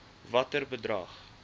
watter bedrag